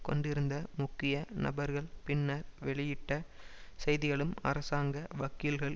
கொண்டிருந்த முக்கிய நபர்கள் பின்னர் வெளியிட்ட செய்திகளும் அரசாங்க வக்கீல்கள்